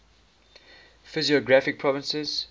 physiographic provinces